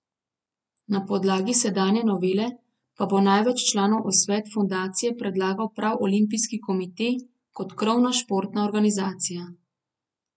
Na podlagi sedanje novele pa bo največ članov v svet fundacije predlagal prav olimpijski komite kot krovna športna organizacija.